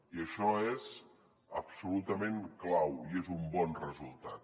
i això és absolutament clau i és un bon resultat